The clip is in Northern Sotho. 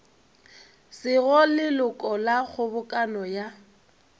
sego leloko la kgobokano ya